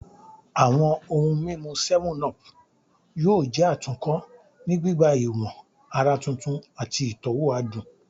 Awọn ohun mimu 7up yoo jẹ atunkọ ni gbigba iwo ara tuntun ati itọwo adun